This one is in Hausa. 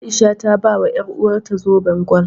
A'isha ta bawa ƴaruwarta zoben gwal.